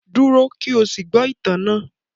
Dúró kí o sì gbọ́ ìtàn náà